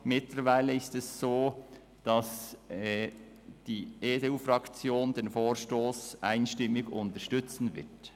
Mittlerweile ist es so, dass die EDU-Fraktion den Vorstoss einstimmig unterstützen wird.